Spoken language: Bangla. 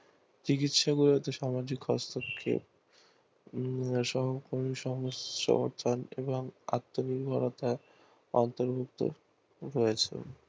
চিকিৎসা ব্যবস্তা সামাজিক হস্তক্ষেপ আত্মনির্ভরতা অন্তর্ভুক্ত রয়েছে